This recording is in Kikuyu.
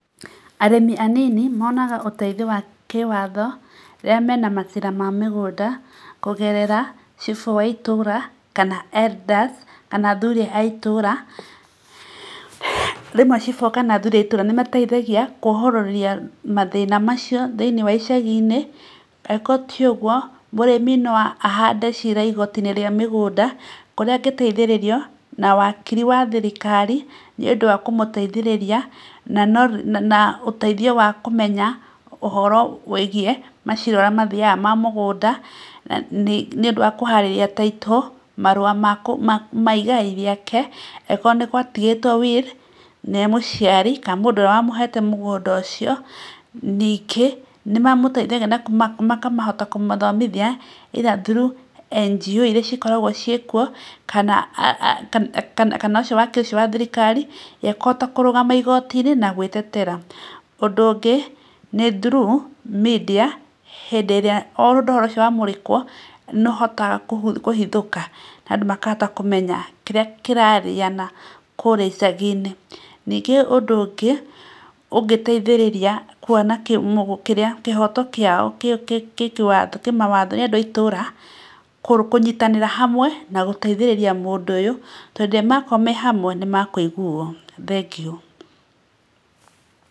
Arĩmi anini monaga moteithio ma kĩwatho rĩrĩa mena mathĩna ma mĩgũnda kũgerera Cibũ wa itũra kana elders kana athuri a itũra. Rĩmwe Cibũ kana athuri a itũra nĩ mateithagia kwohororania mathĩna macio thĩinĩ wa icagi-inĩ. Angĩkorwo ti ũguo mũrĩmi no ahande cira igoti-inĩ rĩa mĩgũnda kũrĩa angĩteithĩririo na wakiri wa thirikari nĩ ũndũ wa kũmũteithĩrĩria na ũteithio wa kũmenya ũhoro wĩgiĩ macira ũrĩa mathiaga ma mĩgũnda. Nĩ ũndũ wa kũharĩrĩria Title marũa ma igai rĩake, angĩkorwo nĩ gwatigĩtwo Will nĩ mũciari kana mũndũ ũrĩa wamũhete mũgũnda ũcio. Ningĩ nĩ mamũteithagia na makahota kũmathomithia either through NGO irĩa cikoragwo ciĩkuo kana ũcio Wakiri ũcio wa thirikari, ũrĩa ekũhota kũrũgama igooti-inĩ na gwĩtetera. Ũndũ ũngĩ nĩ through media hĩndĩ ĩrĩa ũhoro ũcio wamũrĩkwo nĩ ũhotaga kũhithũka na andũ makahota kũmenya kĩrĩa kĩrarĩana kũrĩa icagi-inĩ. Ningĩ ũndũ ũngĩ ũngĩteithĩrĩria kuona kĩrĩa kĩhoto kĩao kĩĩ mawatho nĩ andũ a itũra kũnyitanĩra hamwe na gũteithia mũndũ ũyũ, tondũ rĩrĩa makorwo me hamwe nĩ mekũiguo. Thengiũ.